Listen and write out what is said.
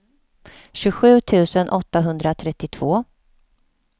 tjugosju tusen åttahundratrettiotvå